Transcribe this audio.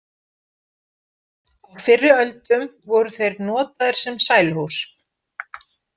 Á fyrri öldum voru þeir notaðir sem sæluhús.